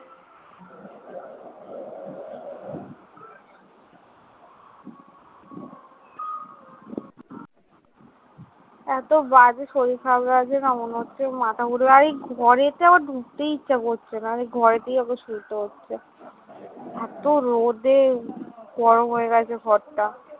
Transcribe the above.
এতো বাজে শরীর খারাপ লাগছে নাহ, মনে হচ্ছে মাথা ঘুরে, আর এই ঘরে তেও ঢুকতেই ইচ্ছা করছে না আর এই ঘরে তেই আমাকে শুতে হচ্ছে। এতো রোদে গরম হয়ে গেছে ঘরটা।